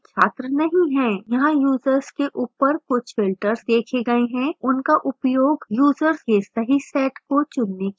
यहां यूजर्स के ऊपर कुछ filters देखे गए हैं उनका उपयोग यूजर्स के सही set को चुनने के लिए करें